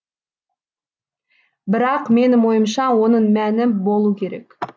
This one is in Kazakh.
бірақ менің ойымша оның мәні болу керек